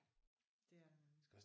Ja det er der